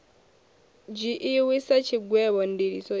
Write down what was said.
dzhiiwi sa tshigwevho ndiliso i